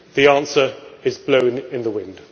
The answer is blowing in the wind'.